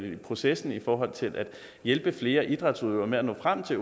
i processen i forhold til at hjælpe flere idrætsudøvere med at nå frem til